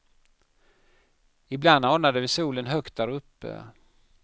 Ibland anade vi solen högt där uppe.